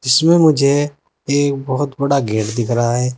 जिसमें मुझे एक बहुत बड़ा गेट दिख रहा है।